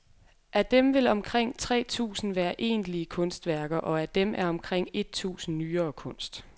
Af dem vil omkring tre tusind være egentlige kunstværker og af dem er omkring et tusind nyere kunst.